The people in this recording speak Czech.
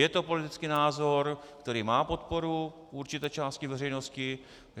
Je to politický názor, který má podporu určité části veřejnosti.